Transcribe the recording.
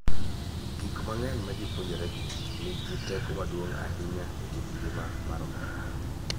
Gik ma ji puonjoregi nigi teko maduong� ahinya e kit ngima mar oganda.